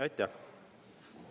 Aitäh!